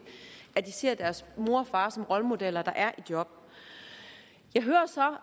at de ser deres mor og far som rollemodeller der er i job jeg hører så